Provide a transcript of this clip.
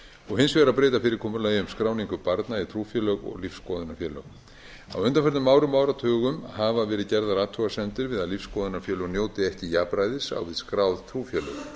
trúfélög og hins vegar að breyta fyrirkomulagi um trúfélög og lífsskoðunarfélög á undanförnum árum hafa verið gerðar athugasemdir við að lífsskoðunarfélög njóti ekki jafnræðis á við skráð trúfélög